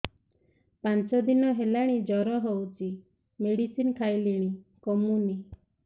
ପାଞ୍ଚ ଦିନ ହେଲାଣି ଜର ହଉଚି ମେଡିସିନ ଖାଇଲିଣି କମୁନି